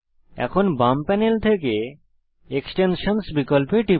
এখন বাম প্যানেল থেকে এক্সটেনশনসহ বিকল্পে টিপুন